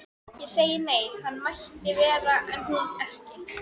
Ég sagði nei, hann mætti vera en ekki hún.